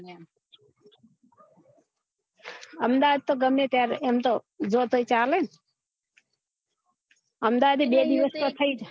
અમદાવાદ તો ગમે ત્યારે એમ તો જો તો એ ચાલે અમદાવાદ એ બે દિવસ તો થઇ જાય